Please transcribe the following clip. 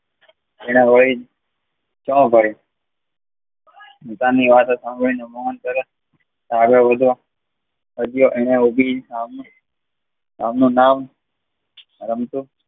તેને લઇ કહ્યા ભાર બીજાની વાત સાંભદયા મોહન કહે આગડ વાંધો